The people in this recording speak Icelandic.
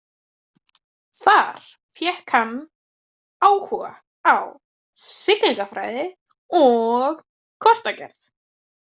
Þar fékk hann áhuga á siglingafræði og kortagerð.